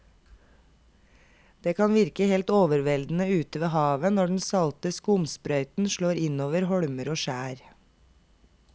Det kan virke helt overveldende ute ved havet når den salte skumsprøyten slår innover holmer og skjær.